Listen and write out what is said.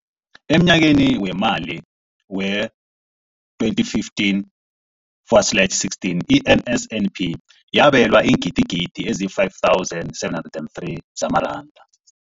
Emnyakeni weemali we-2015 forward slash 16, i-NSNP yabelwa iingidigidi ezi-5 703 zamaranda.